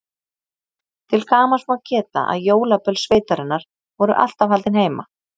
Til gamans má geta að jólaböll sveitarinnar voru alltaf haldin heima.